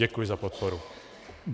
Děkuji za podporu.